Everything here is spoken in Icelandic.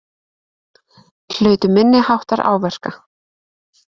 Hlutu minniháttar áverka